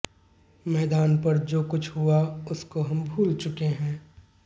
मैदान पर जो कुछ हुआ उसको हम भूल चुके हैं